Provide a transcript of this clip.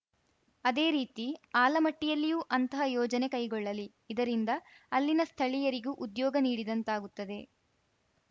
ಅದೇ ರೀತಿ ಆಲಮಟ್ಟಿಯಲ್ಲಿಯೂ ಅಂತಹ ಯೋಜನೆ ಕೈಗೊಳ್ಳಲಿ ಇದರಿಂದ ಅಲ್ಲಿನ ಸ್ಥಳೀಯರಿಗೂ ಉದ್ಯೋಗ ನೀಡಿದಂತಾಗುತ್ತದೆ